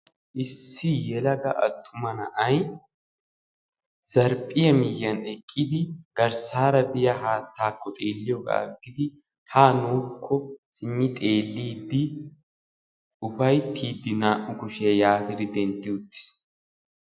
Issi yelaga attuma na'ay zarphphiyaa miyiyaan eqqidi garssaara biyaa haattakko xeelliyoogaa aggidi haa nuukko simmi xeelliidi ufayttiidi naa"u kushiyaa yaatidi dentti uttiis.